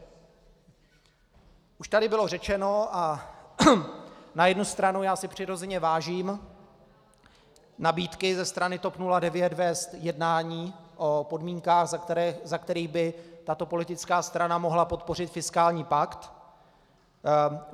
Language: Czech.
Už tady bylo řečeno - a na jednu stranu já si přirozeně vážím nabídky ze strany TOP 09 vést jednání o podmínkách, za kterých by tato politická strana mohla podpořit fiskální pakt.